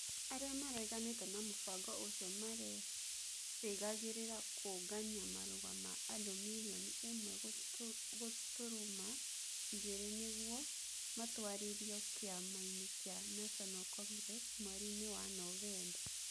Arĩa mareganĩte na mũbango ũcio merĩgagĩrĩra kũũngania marũa ma andũ mirioni ĩmwe gũturuma igĩrĩ nĩguo matwarĩrio kĩama-inĩ kĩa National Congress mweri-inĩ wa Novemba.